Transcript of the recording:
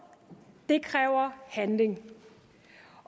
det kræver handling